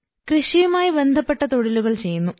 കൃഷിയുമായി ബന്ധപ്പെട്ട തൊഴിലുകൾ ചെയ്യുന്നു